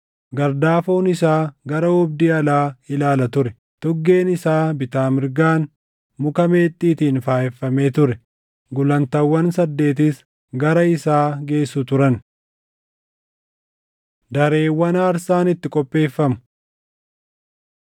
Gardaafoon isaa gara oobdii alaa ilaala ture; tuggeen isaa bitaa mirgaan muka meexxiitiin faayeffamee ture; gulantaawwan saddeetis gara isaa geessu turan. Dareewwan Aarsaan Itti Qopheeffamu